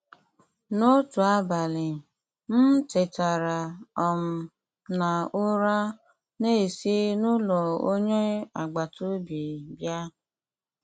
N’otu abalị, m tetara um n’ụra na-esi n’ụlọ onye agbata obi bịa.